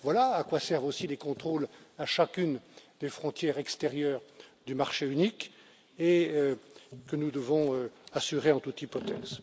Voilà à quoi servent aussi les contrôles à chacune des frontières extérieures du marché unique et que nous devons assurer en toute hypothèse.